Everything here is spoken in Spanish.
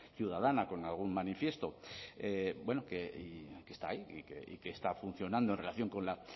ciudadana con algún manifiesto que está ahí y que está funcionando en relación con la